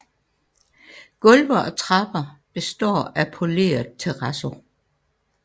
Gulve og trapper består af poleret terrazzo